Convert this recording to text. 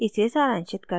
इसे सारांशित करते हैं